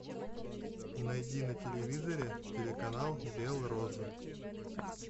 найди на телевизоре телеканал белрос